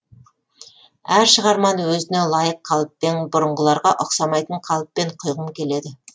әр шығарманы өзіне лайық қалыппен бұрынғыларға ұқсамайтын қалыппен құйғым келеді